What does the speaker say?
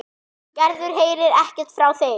Gerður heyrir ekkert frá þeim.